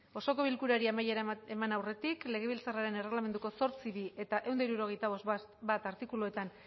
osoko bilkurari amaiera eman aurretik legebiltzarraren erregelamenduko zortzi puntu bi eta ehun eta hirurogeita bost puntu bat artikuluetan